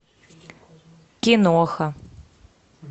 киноха